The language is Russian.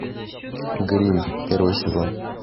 гримм первый сезон